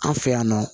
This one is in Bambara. An fɛ yan nɔ